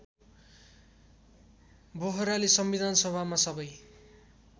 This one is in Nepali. बोहराले संविधानसभामा सबै